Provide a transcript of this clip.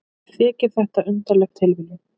Mér þykir þetta undarleg tilviljun.